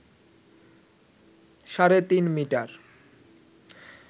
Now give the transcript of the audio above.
সাড়ে তিন মিটার